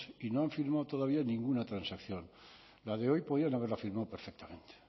y no han firmado todavía ninguna transacción la de hoy podían haberla firmado perfectamente